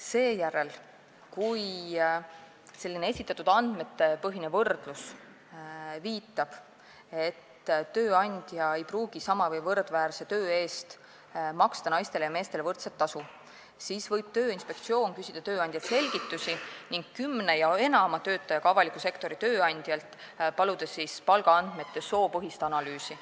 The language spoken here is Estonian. Seejärel, kui esitatud andmetepõhine võrdlus viitab, et tööandja ei pruugi sama või võrdväärse töö eest maksta naistele ja meestele võrdset tasu, võib Tööinspektsioon küsida tööandjalt selgitusi ning paluda kümne ja enama töötajaga avaliku sektori tööandjalt palgaandmete soopõhist analüüsi.